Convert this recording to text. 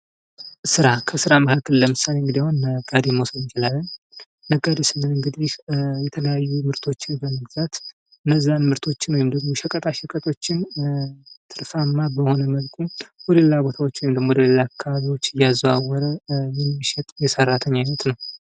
ስራ ከስራ መካከል ለምሳሌ እንግዲህ አሁን ነጋዴን መውሰድ እንችላለን ነጋዴ ስንል እንግዲህ የተለያዩ ምርቶችን በመግዛት እነዚያ ምርቶችን ወይም ሸቀጣሸቀጦችን ትርፍአማ በሆነ መልኩ ወደ ሌላ ቦታዎች ወይም ወደ ሌላ አካባቢ ዎች እያዘዋወረ የሚሸጥ የሰራተኛ አይነት ነው ::